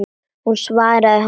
Hún svaraði honum ekki.